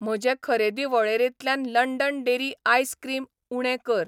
म्हजे खरेदी वळेरेंतल्यान लंडन डेरी आयस क्रीम उणें कर.